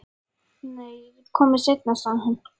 Nei, ég get ekki komið seinna, sagði hann.